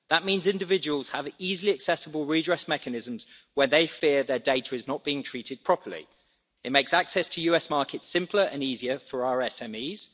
That means individuals have easily accessible redress mechanisms when they fear their data is not being treated properly. It makes access to US markets simpler and easier for our SMEs.